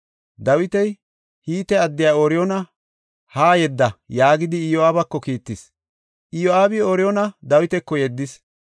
Dawiti, “Hite addiya Ooriyoona haa yedda” yaagidi Iyo7aabako kiittis. Iyo7aabi Ooriyoona Dawitako yeddis.